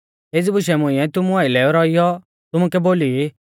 एज़ी बुशै मुंइऐ तुमु आइलै रौइऔ तुमुकै बोली ई